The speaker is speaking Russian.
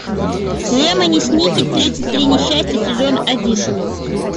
лемони сникет тридцать три несчастья сезон один